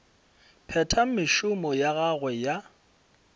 phetha mešomo ya gagwe ya